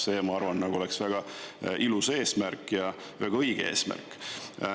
See, ma arvan, oleks väga ilus eesmärk ja väga õige eesmärk.